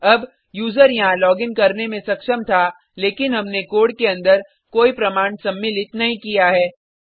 अब यूज़र यहाँ लॉगिन करने में सक्षम था लेकिन हमने कोड के अंदर कोई प्रमाण सम्मिलित नहीं किया है